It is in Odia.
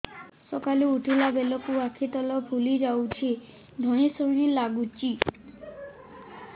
ସକାଳେ ଉଠିଲା ବେଳକୁ ଆଖି ତଳ ଫୁଲି ଯାଉଛି ଧଇଁ ସଇଁ ଲାଗୁଚି